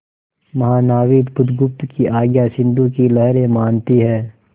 महानाविक बुधगुप्त की आज्ञा सिंधु की लहरें मानती हैं